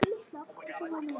Alveg bókað!